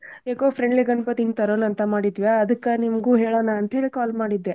Eco -frindly ಗಣ್ಪತಿನ ತರೋನ್ ಅಂತ ಮಾಡಿದ್ವಿಯಾ ಅದ್ಕ ನಿಮ್ಗೂ ಹೇಳೋಣ ಅಂತ್ಹೇಳಿ call ಮಾಡಿದ್ದೆ.